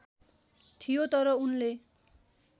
थियो तर उनले